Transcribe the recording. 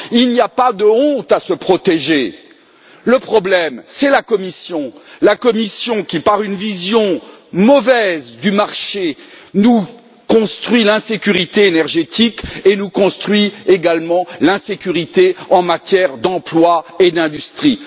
Il n'y a pas de honte à se protéger, le problème c'est la Commission qui, par une mauvaise vision du marché, nous construit l'insécurité énergétique et nous construit également l'insécurité en matière d'emploi et d'industrie.